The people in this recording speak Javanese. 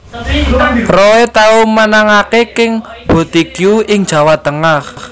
Roy tau menangaké King Boutique ing Jawa Tengah